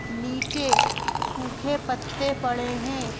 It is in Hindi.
नीचे सूखे पत्ते पड़े हैं।